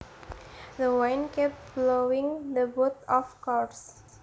The wind kept blowing the boat off course